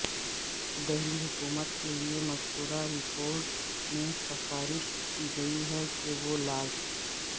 دہلی حکومت کے لئے مذکورہ رپورٹ میں سفارش کی گئی ہے کہ وہ لاز